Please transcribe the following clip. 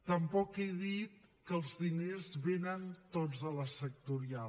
tampoc he dit que els diners venen tots de la sectorial